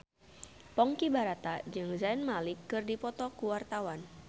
Ponky Brata jeung Zayn Malik keur dipoto ku wartawan